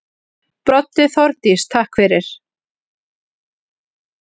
Broddi: Þórdís takk fyrir.